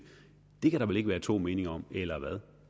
det kan der vel ikke være to meninger om eller hvad